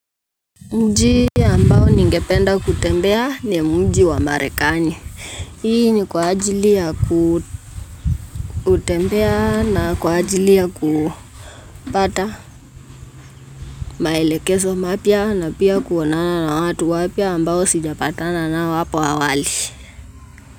Mji ambao ningependa kutembea ni mji wa Marekani. Hii ni kwa ajili ya kutembea na kwa ajili ya kupata maelekezo mapya na pia kuonana na watu wapya ambao sijapatana nao hapo awali.